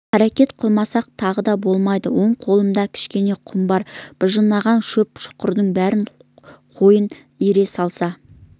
қарекет қылмасқа тағы болмайды оң қолында кішкене құм бар быжынаған көп шұқырдың біріне қойын иіре салса